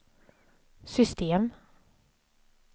system